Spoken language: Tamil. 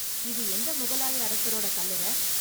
இது எந்த முகலாய அரசரோட கல்லறை?